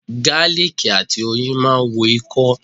Gáálìkì àti oyin máa ń wo ikọ́.